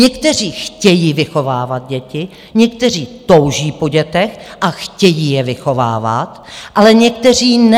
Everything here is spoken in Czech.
Někteří chtějí vychovávat děti, někteří touží po dětech a chtějí je vychovávat, ale někteří ne.